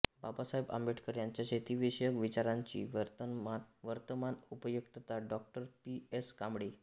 बाबासाहेब आंबेडकर यांच्या शेतीविषयक विचारांची वर्तमान उपयुक्तता डॉ पी एस कांबळे